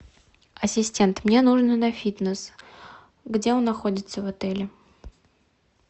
ассистент мне нужно на фитнес где он находится в отеле